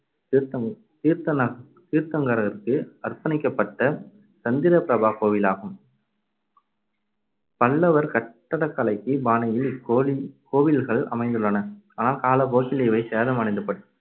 தீர்த்த~ தீர்த்தநா~ தீர்த்தங்கரருக்கு அர்ப்பணிக்கப்பட்ட சந்திரபிரபா கோவிலாகும். பல்லவர் கட்டடக்கலைக்கு பாணியில் இக்கோலி~ இக்கோவில்கள் அமைந்துள்ளன. ஆனால் காலப்போக்கில் இவை சேதமடைந்து